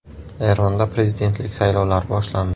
Eronda prezidentlik saylovlari boshlandi.